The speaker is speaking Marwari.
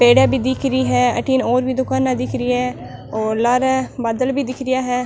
पेड़ीया भी दिख री है अठीन और भी दुकाना दिख री है और लारे बादल भी दिख रिया है।